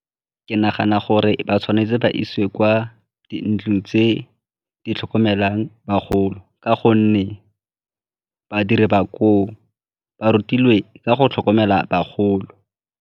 Ke nagana gore ba tshwanetse ba isiwe kwa dintlong tse di tlhokomelang bagolo ka gonne badiri ba koo ba rutilwe ka go tlhokomela bagolo.